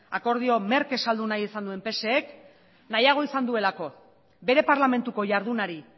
akordioa merke saldu nahi izan duen psek nahiago izan duelako bere parlamentuko jardunari